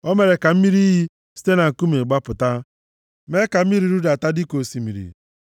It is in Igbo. O mere ka mmiri iyi site na nkume gbapụta, mee ka mmiri rudata dịka osimiri.